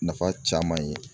Nafa caman ye.